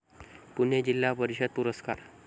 पुणे जिल्हा परिषद पुरस्कार